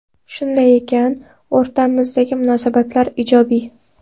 Shunday ekan, o‘rtamizdagi munosabatlar ijobiy.